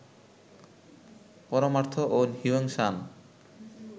পরমার্থ ও হিউয়েন সাঙ